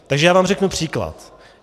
Takže já vám řeknu příklad.